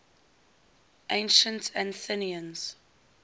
ancient athenians